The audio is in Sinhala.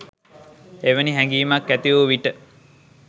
එවැනි හැඟීමක් ඇති වූ විට